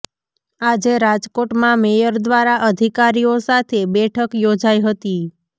આજે રાજકોટમાં મેયર દ્વારા અધિકારીઓ સાથે બેઠક યોજાઈ હતી